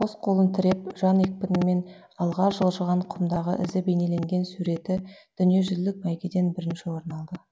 қос қолын тіреп жан екпінмен алға жылжыған құмдағы ізі бейнеленген суреті дүниежүзілік бәйгеден бірінші орын алды